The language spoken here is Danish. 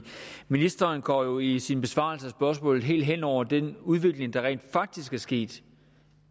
ministeren går jo i sin besvarelse af spørgsmålet helt hen over den udvikling der rent faktisk er sket